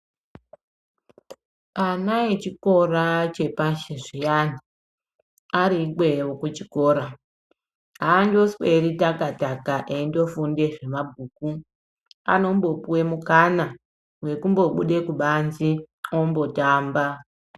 Ana echikora chepashi zviyani, ari ikweyo kuchikora aandosweri taka-taka eindofunde zvemabhuku. Anombopuwe mukana, wekumbobude kubanze, ombotamba.